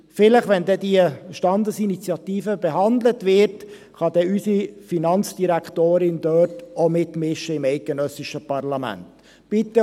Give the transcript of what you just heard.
Vielleicht kann unsere Finanzdirektorin auch im eidgenössischen Parlament mitwirken, wenn diese Standesinitiative behandelt wird.